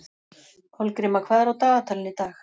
Kolgríma, hvað er á dagatalinu í dag?